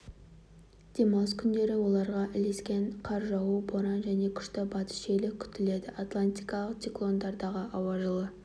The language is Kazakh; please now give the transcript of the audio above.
демалыс күндері оларға ілескен қар жауу боран және күшті батыс желі күтіледі атлантикалық циклондардағы ауа жылы